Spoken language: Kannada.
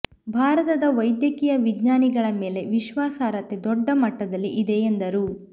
ಭಾರತದ ವೈದ್ಯಕೀಯ ವಿಜ್ಞಾನಿಗಳ ಮೇಲೆ ವಿಶ್ವಾಸರ್ಹತೆ ದೊಡ್ಡ ಮಟ್ಟದಲ್ಲಿ ಇದೆ ಎಂದರು